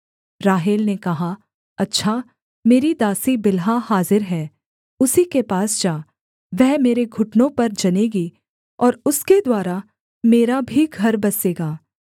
राहेल ने कहा अच्छा मेरी दासी बिल्हा हाजिर है उसी के पास जा वह मेरे घुटनों पर जनेगी और उसके द्वारा मेरा भी घर बसेगा